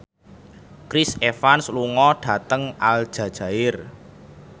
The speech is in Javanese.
Chris Evans lunga dhateng Aljazair